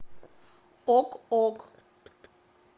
ок ок